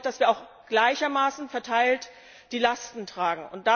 Und das bedeutet, dass wir auch gleichermaßen verteilt die Lasten tragen.